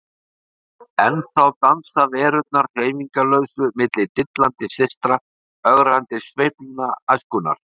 Ennþá dansa verurnar hreyfingarlausu milli dillandi systra, ögrandi sveiflna æskunnar.